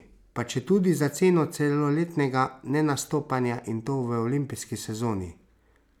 Pa četudi za ceno celoletnega nenastopanja, in to v olimpijski sezoni!